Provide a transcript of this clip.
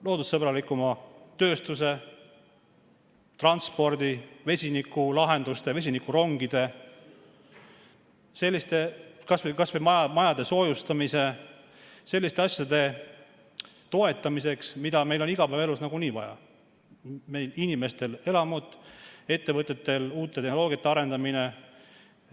Loodussõbralikuma tööstuse, transpordi, vesinikulahenduste, vesinikurongide, kas või majade soojustamise jaoks – selliste asjade toetamiseks, mida meil on igapäevaelus nagunii vaja, inimestel on vaja elamut, ettevõtetel uute tehnoloogiate arendamist.